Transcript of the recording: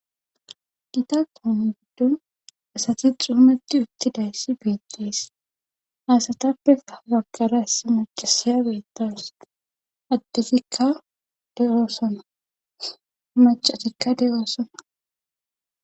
Gita kaame gidon asti caaniti uttidayssi beetees. ha asatappe ha bagara issi macassiya beetawus. addetikka de'osona. macatikka de'osona.